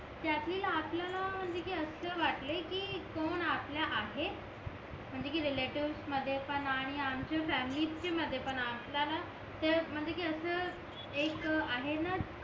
त्यातील आपल्याला म्हणजे कि असा वाटले कि कोण आपला आहे म्हंजे कि रिलेटिव्ह मध्ये पण आणि आमच्या फॅमिलीचीच च्या मध्ये पण आपल्याला म्हणजे कि असं एक आहेना